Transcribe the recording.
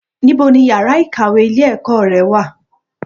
Ní bo ni ìyára í kàwé ilé ẹ̀kọ́ ré wà